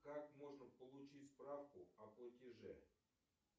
как можно получить справку о платеже